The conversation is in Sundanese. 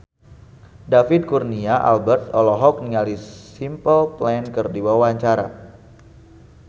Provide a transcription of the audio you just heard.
David Kurnia Albert olohok ningali Simple Plan keur diwawancara